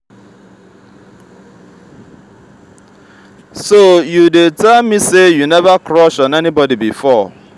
so you dey tell me say you never crush on anybody before.